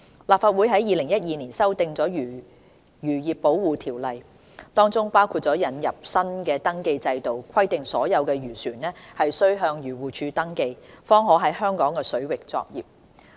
立法會於2012年修訂了《漁業保護條例》，當中包括引入了新的登記制度，規定所有漁船須向漁護署登記，方可在香港水域作業。